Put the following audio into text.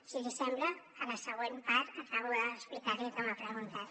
si li sembla a la següent part acabo d’explicar li el que m’ha preguntat